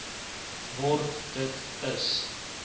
word dit is